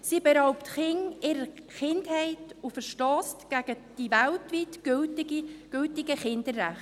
Sie beraubt Kinder ihrer Kindheit und verstösst gegen die weltweit gültigen Kinderrechte.